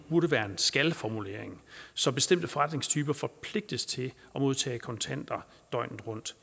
burde være en skal formulering så bestemte forretningstyper forpligtes til at modtage kontanter døgnet rundt